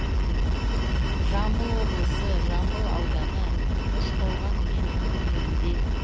жамбыл облысы жамбыл ауданы үшқорған кентінің жерінде